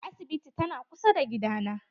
Asibitin ta na kusa da gida na.